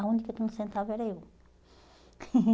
A única que não sentava era eu.